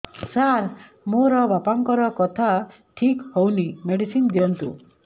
ସାର ମୋର ବାପାଙ୍କର କଥା ଠିକ ହଉନି ମେଡିସିନ ଦିଅନ୍ତୁ